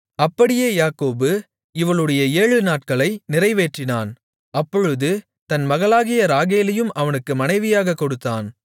அப்படியே யாக்கோபு இவளுடைய ஏழு நாட்களை நிறைவேற்றினான் அப்பொழுது தன் மகளாகிய ராகேலையும் அவனுக்கு மனைவியாகக் கொடுத்தான்